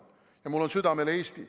Ja mul on südamel Eesti.